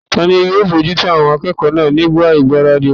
Tani yóò bojútó àwọn akẹ́kọ̀ọ́ náà nígbà ìgbáradì wọn?